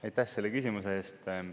Aitäh selle küsimuse eest!